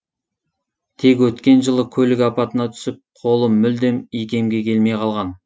тек өткен жылы көлік апатына түсіп қолы мүлдем икемге келмей қалған